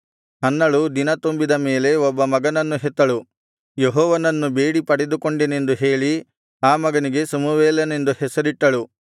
ಹನ್ನಳು ದಿನತುಂಬಿದ ಮೇಲೆ ಒಬ್ಬ ಮಗನನ್ನು ಹೆತ್ತಳು ಯೆಹೋವನನ್ನು ಬೇಡಿ ಪಡೆದುಕೊಂಡೆನೆಂದು ಹೇಳಿ ಆ ಮಗನಿಗೆ ಸಮುವೇಲನೆಂದು ಹೆಸರಿಟ್ಟಳು